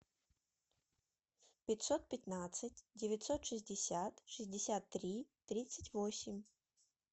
пятьсот пятнадцать девятьсот шестьдесят шестьдесят три тридцать восемь